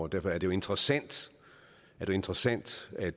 derfor er det jo interessant at interessant at